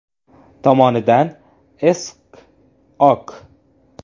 tomonidan S.K., O.K.